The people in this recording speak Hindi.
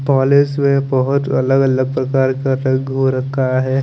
पोलिश में बहोत अलग अलग प्रकार का रंगो रखा है।